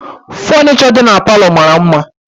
Funisho dị n'palo mara mma